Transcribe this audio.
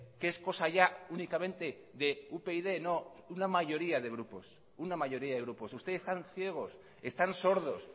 que no es cosa ya únicamente de upyd no una mayoría de grupos ustedes están ciegos están sordos